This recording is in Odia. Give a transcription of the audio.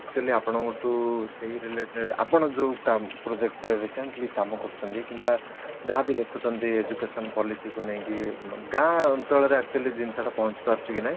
actually ଆପଣଙ୍କ ଠୁ ସେଇ related ଆପଣ ଯୋଉ project ରେ recent କାମ କରୁଛନ୍ତି ବା ଯାହା ବି ଦେଖୁଛନ୍ତି ଯେ education policy କୁ ନେଇକି ଗାଁ ଅଞ୍ଚଳ ରେ actually ଜିନିଷ ଟା ପହଞ୍ଚି ପାରୁଛି କି ନାହିଁ